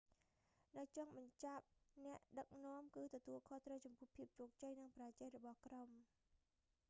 នៅចុងបញ្ចប់ អ្នកដឹកនាំគឺទទួលខុសត្រូវចំពោះភាពជោគជ័យ និងបរាជ័យរបស់ក្រុម